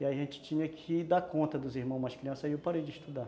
E aí a gente tinha que dar conta dos irmãos mais crianças, aí eu parei de estudar.